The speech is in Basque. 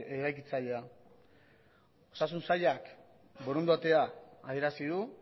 eraikitzailea osasun sailak borondatea adierazi du